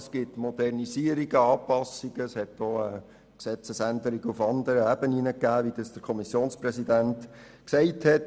Es gibt Modernisierungen und Anpassungen und auch Gesetzesänderungen auf anderer Ebene, wie das der Kommissionpräsident ausgeführt hat.